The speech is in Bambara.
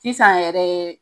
Sisan yɛrɛ